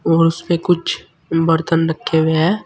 और उस पे कुछ बर्तन रखे हुए हैं।